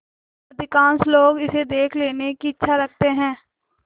अधिकांश लोग इसे देख लेने की इच्छा रखते हैं